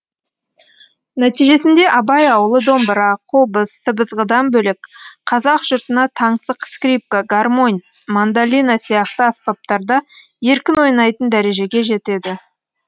нәтижесінде абай ауылы домбыра қобыз сыбызғыдан бөлек қазақ жұртына таңсық скрипка гармонь мандолина сияқты аспаптарда еркін ойнайтын дәрежеге жетеді